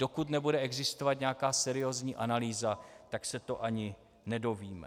Dokud nebude existovat nějaká seriózní analýza, tak se to ani nedovíme.